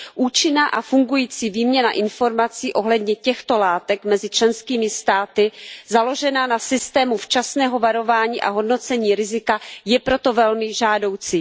Účinná a fungující výměna informací ohledně těchto látek mezi členskými státy založená na systému včasného varování a hodnocení rizika je proto velmi žádoucí.